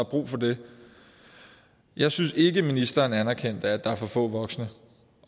brug for det jeg synes ikke ministeren anerkendte at der er for få voksne